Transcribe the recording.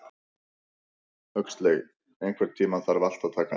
Huxley, einhvern tímann þarf allt að taka enda.